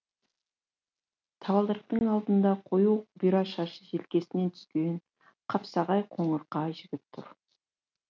табалдырықтың алдында қою бұйра шашы желкесіне түскен қапсағай қоңырқай жігіт тұр